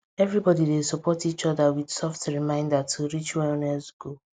everybody dey support each other with soft reminder to reach wellness goal